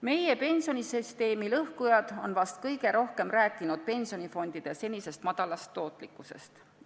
Meie pensionisüsteemi lõhkujad on vahest kõige rohkem rääkinud pensionifondide senisest madalast tootlikkusest.